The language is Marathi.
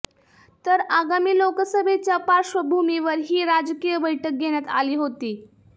तर आगामी लोकसभेच्या पार्श्वभूमीवर ही राजकीय बैठक घेण्यात आली होती